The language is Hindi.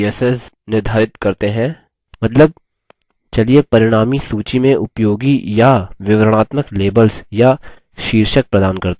मतलब चलिए परिणामी सूची में उपयोगी या विवरणात्मक labels या शीर्षक प्रदान करते हैं